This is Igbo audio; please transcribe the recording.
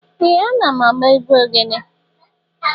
Ee! Ana m agba egwu ogele.